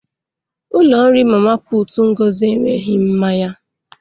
Ụlọ nri mama puutu Ngozi enweghị mmanya.